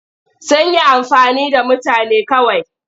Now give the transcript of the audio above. Sun yi amfani da mutane kawai.